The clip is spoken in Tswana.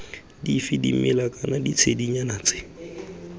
dife dimela kana ditshedinyana tse